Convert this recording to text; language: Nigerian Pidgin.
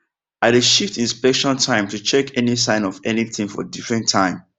i dey shift inspection time to check any sign of anything for different time